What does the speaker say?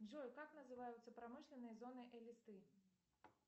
джой как называются промышленные зоны элисты